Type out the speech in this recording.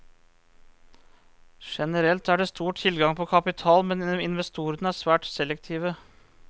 Generelt er det stor tilgang på kapital, men investorene er svært selektive.